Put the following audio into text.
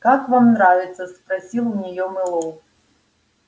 как вам нравится спросил у нее мэллоу